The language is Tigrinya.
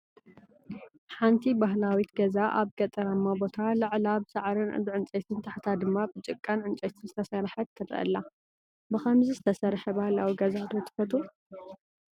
ሓንቲ ባህላዊት ገዛ ኣብ ገጠራማ ቦታ ፣ ላዕላ ብሳዕርን ብዕንጨይትን ታሕታ ድማ ብጭቃን ዕንጨይትን ዝተሰርሐት ትረአ ኣላ፡፡ ብኸምዚ ዝተሰርሐ ባህላዊ ገዛ ዶ ትፈትው?